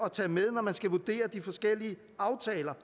at tage med når man skal vurdere de forskellige aftaler